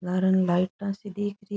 लारे ने लाइट सी दिखरी है।